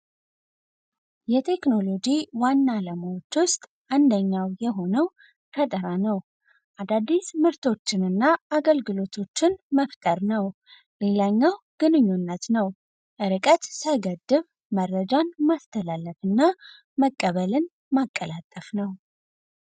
የቴክኖሎጂ ዋናው አንደኛ ፈጥና ነው። አዳዲስ ምርቶችንና አገልግሎቶችን መፍጠር ነው። ሌላኛው ግንኙነት መረጃን ማስተላለፍና መቀበልን ማቀላጠፍ ነው።